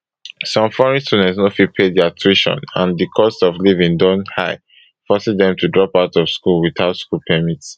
some foreign students no fit pay dia tuition and di cost of living don high forcing dem to drop out of school without school permit